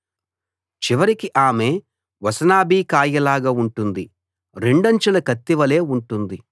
చివరికి ఆమె వసనాభి కాయలాగా ఉంటుంది రెండంచుల కత్తి వలే ఉంటుంది